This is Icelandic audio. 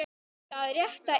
Það rétta er.